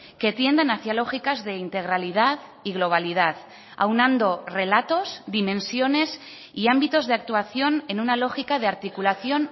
que tiendan hacia lógicas de integralidad y globalidad aunando relatos dimensiones y ámbitos de actuación en una lógica de articulación